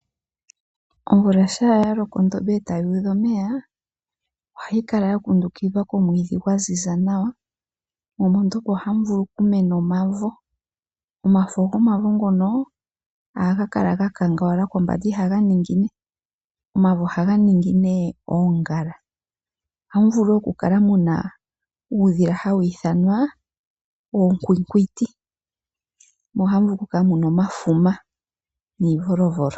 Omvula shampa yaloko ndele ondombe eta yuudha omeya, ohayi kala yakundukidhwa komwiidhi mo mondombe ohamu vulu okumena omavo nomafo gomavo ohaga kala gakangala kombanda ihaga ningine nomavo ohaga ningi oongala. Moondombe ohamukala muna uudhila hawiithanwa oonkwinkwiti nosho woo omafuma nuuvolovolo.